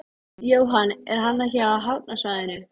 Hann ætlaði að finna hann hvað sem það kostaði.